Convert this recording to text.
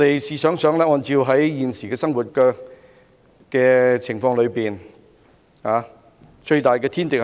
試想想，按照現時的生活情況，一個人最大的天敵是甚麼？